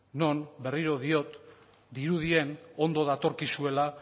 non berriro diot dirudien ondo datorkizuela